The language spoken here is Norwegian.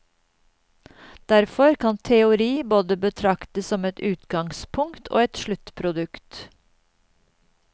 Derfor kan teori både betraktes som et utgangspunkt og et sluttprodukt.